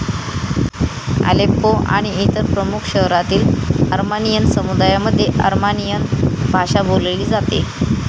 Aleppo आणि इतर प्रमुख शहरांतील अर्मानियन समुदायामध्ये अर्मानियन भाषा बोलली जाते.